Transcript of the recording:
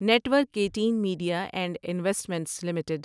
net work eighteen media and investments limited